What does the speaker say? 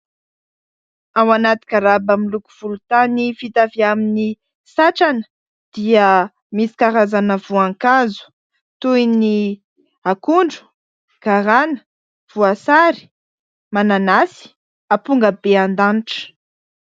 Ao anaty garaba miloko volontany vita avy amin'ny satrana dia misy karazana voankazo toy ny akondro, garana, voasary, mananasy, ampongabeandanitra.